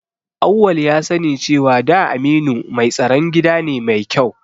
Auwal ya sani cewa da Aminu mai tsaron gida ne mai kyau